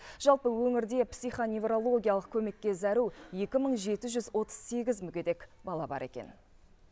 жалпы өңірде психоневрологиялық көмекке зәру екі мың жеті жүз отыз сегіз мүгедек бала бар екен